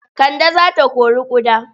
Kande za ta kori ƙuda.